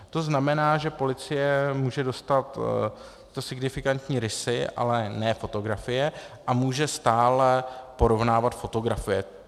To znamená, že policie může dostat tyto signifikantní rysy, ale ne fotografie a může stále porovnávat fotografie.